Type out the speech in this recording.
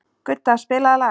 Gudda, spilaðu lag.